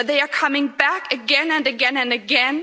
But they are coming back again, and again, and again.